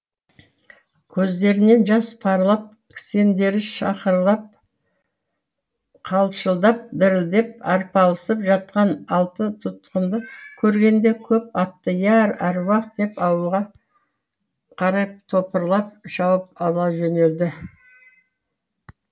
көздерінен жас парлап кісендері шақырлап қалшылдап дірілдеп арпалысып жатқан алты тұтқынды көргенде көп атты я аруақ деп ауылға қарай топырлап шауып ала жөнелді